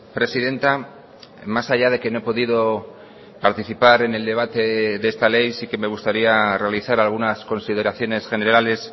presidenta más allá de que no he podido participar en el debate de esta ley sí que me gustaría realizar algunas consideraciones generales